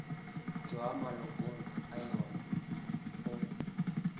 tšwa malokong a yona go